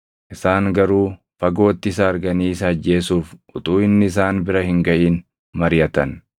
Isaan garuu fagootti isa arganii isa ajjeesuuf utuu inni isaan bira hin gaʼin mariʼatan.